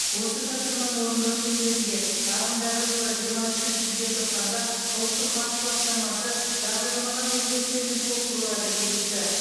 осы тапсырманы орындау шеңберінде ағымдағы жылы жиырма үшінші желтоқсанда ұлттық банк басқармасы бағдарламаға өзгерістер мен толықтыруларды бекітті